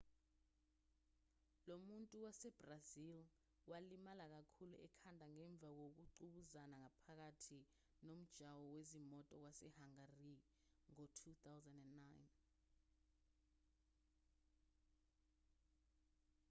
lo muntu wasebrazili walimala kakhulu ekhanda ngemva kokungqubuzana phakathi nomjaho wezimoto wasehangari ngo-2009